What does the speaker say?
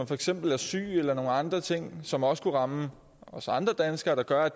for eksempel er syg eller nogle andre ting som også kunne ramme os andre danskere der gør at